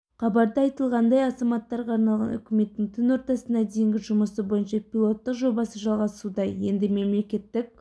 хабарда айтылғандай азаматтарға арналған үкіметтің түн ортасына дейінгі жұмысы бойынша пилоттық жобасы жалғасуда енді мемлекеттік